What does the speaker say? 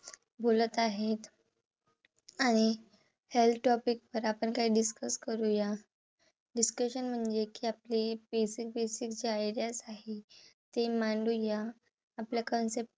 बोलत आहे. आणि health topic वर आपण काही discuss करूया. Discussion म्हणजे कि आपले जे आहेत, त्या काही आहे ते मांडूया. आपल्या concepts